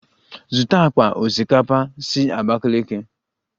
Zụta akpa osikapa si Abakiliki!